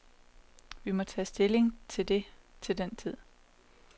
Vi må tage stilling til det til den tid.